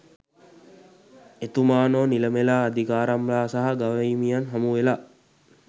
එතුමානෝ නිලමෙලා අධිකාරම්ලා සහ ගවහිමියන් හමුවෙලා